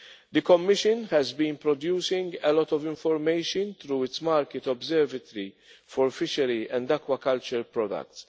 The Commission has been producing a lot of information through its market observatory for fishery and aquaculture products.